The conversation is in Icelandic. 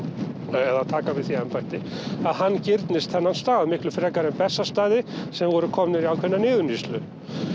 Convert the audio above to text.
eða að taka við því embætti að hann girnist þennan stað miklu frekar en Bessastaði sem voru komnir í ákveðna niðurníðslu